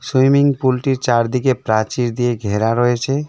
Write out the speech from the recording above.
Swimming পুলটির চারদিকে প্রাচীর দিয়ে ঘেরা রয়েছে।